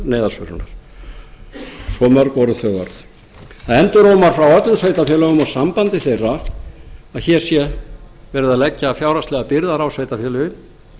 neyðarsvörunar svo mörg voru þau orð það endurómar frá öllum sveitarfélögunum og sambandi þeirra að hér sé verið að leggja fjárhagslegar byrðar á sveitarfélögin